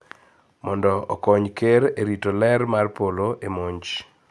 Mondo okony ker e rito ler mar polo e monj